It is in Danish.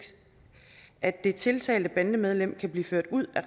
at det tiltalte bandemedlem kan blive ført ud af